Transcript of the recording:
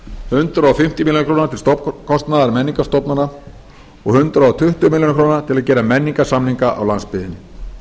hundrað fimmtíu milljónir króna til stofnkostnaðar menningarstofnana og hundrað tuttugu milljónir króna til að gera menningarsamninga á landsbyggðinni